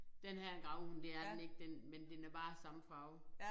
Denne her er en gravhund det er den ikke den men den er bare samme farve